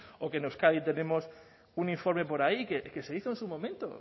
o que en euskadi tenemos un informe por ahí que se hizo en su momento